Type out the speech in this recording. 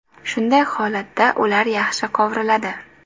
Shunday holatda ular yaxshi qovuriladi.